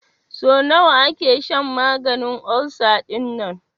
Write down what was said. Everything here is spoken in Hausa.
So nawa ake shan maganin ulcer dinnan?